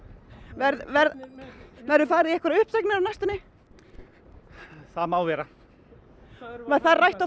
verður verður verður farið í einhverjar uppsagnir á næstunni það má vera var það rætt á